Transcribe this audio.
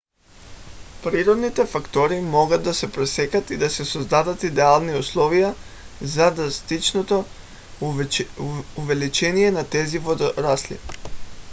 природните фактори могат да се пресекат и да се създадат идеални условия за драстичното увеличение на тези водорасли